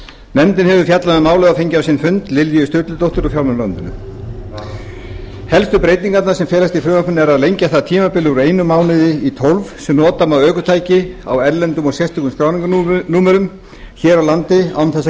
nefndin hefur fjallað um málið og fengið á sinn fund lilju sturludóttur frá fjármálaráðuneyti helstu breytingarnar sem felast í frumvarpinu eru að lengja það tímabil úr einum mánuði í tólf sem nota má ökutæki á erlendum eða sérstökum skráningarnúmerum hér á landi án þess að